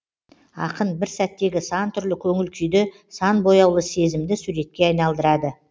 ақын бір сәттегі сан түрлі көңіл күйді сан бояулы сезімді суретке айналдырады